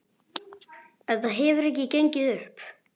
Þetta hefur ekki gengið upp.